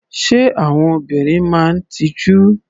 Ṣé àwọn obìnrin máa ń tijú?